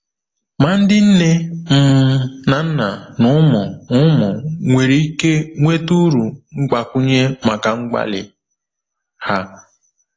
Ma ndị nne um na nna na ụmụ ụmụ nwere ike nweta uru mgbakwunye maka mgbalị ha.